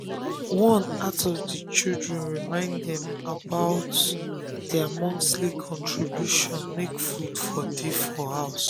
one out of the children remind dem about remind dem about dia monthly contribution makw food for dey for house